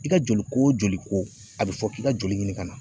I ka joli ko wo joli ko a be fɔ k'i ka joli ɲini ka na.